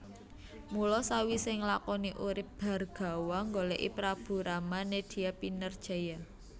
Mula sawisé nglakoni urip Bhargawa nggolèki Prabu Rama nedya pinerjaya